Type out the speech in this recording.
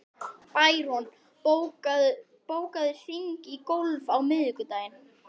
Bæron, bókaðu hring í golf á miðvikudaginn.